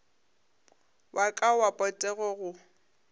wa ka wa potego go